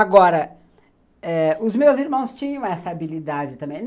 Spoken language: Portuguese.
Agora eh, os meus irmãos tinham essa habilidade também.